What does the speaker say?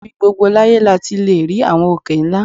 Ibi gbogbo láyé la ti lè rí àwọn òkè ńlá